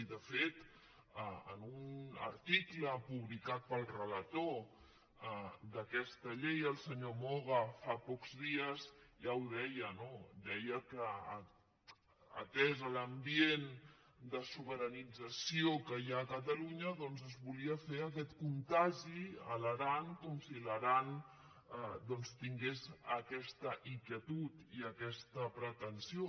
i de fet en un article publicat pel relator d’aquesta llei el senyor moga fa pocs dies ja ho deia no deia que atès l’ambient de sobiranitza·ció que hi ha a catalunya es volia fer aquest contagi a l’aran com si l’aran doncs tingués aquesta inquietud i aquesta pretensió